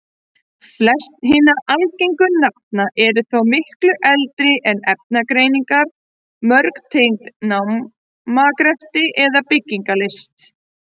Flest hinna algengu nafna eru þó miklu eldri en efnagreiningar, mörg tengd námagreftri eða byggingarlist.